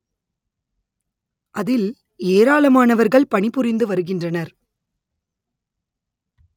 அதில் ஏராளமானவர்கள் பணி புரிந்து வருகின்றனர்